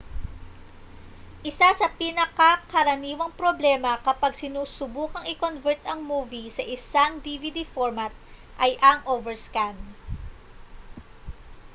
isa sa mga pinakakaraniwang problema kapag sinusubukang i-convert ang movie sa isang dvd format ay ang overscan